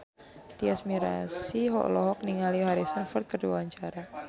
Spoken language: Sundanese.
Tyas Mirasih olohok ningali Harrison Ford keur diwawancara